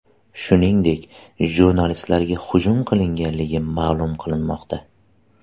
Shuningdek, jurnalistlarga hujum qilinganligi ma’lum qilinmoqda.